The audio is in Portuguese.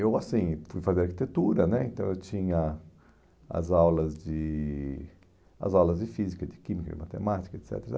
Eu, assim, fui fazer arquitetura né, então eu tinha as aulas de as aulas de física, de química, de matemática, et cetera.